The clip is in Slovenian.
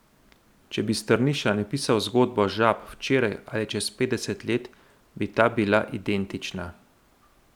Če bi Strniša napisal zgodbo Žab včeraj ali čez petdeset let, bi ta bila identična.